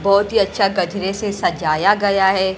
बहोत ही अच्छा गजरे से सजाया गया है।